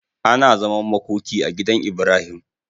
Ana zaman makoki a gidan Ibrahim